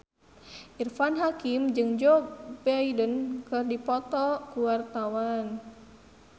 Irfan Hakim jeung Joe Biden keur dipoto ku wartawan